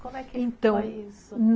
Como é que foi isso? Então